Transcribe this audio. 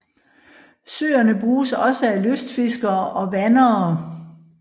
Søerne bruges også af lystfiskere og vandere